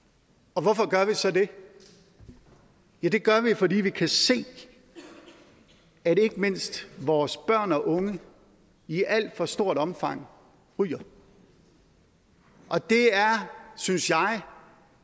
og hvorfor gør vi så det ja det gør vi fordi vi kan se at ikke mindst vores børn og unge i alt for stort omfang ryger og det er synes jeg